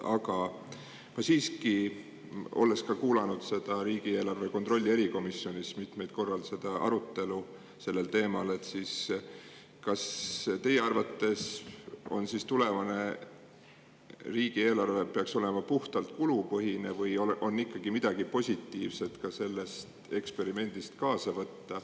Aga siiski, olles kuulanud ka riigieelarve kontrolli erikomisjonis mitmel korral arutelu sellel teemal, küsin, kas teie arvates peaks tulevane riigieelarve olema puhtalt kulupõhine või on ikkagi midagi positiivset ka sellest eksperimendist kaasa võtta.